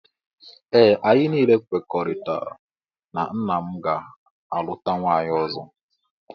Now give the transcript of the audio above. Ee anyị niile kwekoritara na nna m ga aluta nwaanyị ọzọ.